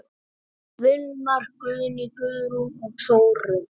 Vilmar, Guðný, Guðrún og Þórunn.